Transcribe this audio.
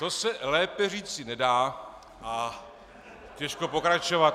To se lépe říci nedá a těžko pokračovat.